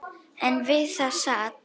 En við það sat.